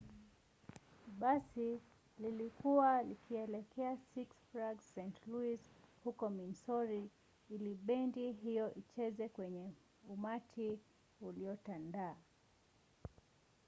basi lilikuwa likielekea six flags st. louis huko missouri ili bendi hiyo icheze kwenye umati uliotandaa